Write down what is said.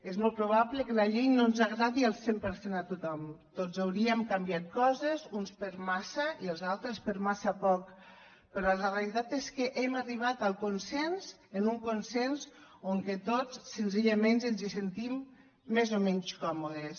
és molt probable que la llei no ens agradi al cent per cent a tothom tots hauríem canviat coses uns per massa i els altres per massa poc però la realitat és que hem arribat al consens a un consens en què tots senzillament ens hi sentim més o menys còmodes